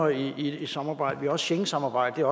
i samarbejdet også schengensamarbejdet